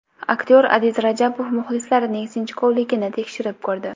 Aktyor Adiz Rajabov muxlislarining sinchkovligini tekshirib ko‘rdi.